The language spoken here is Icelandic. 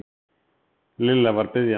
Lilla var biðjandi.